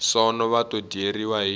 sono va to dyeriwa hi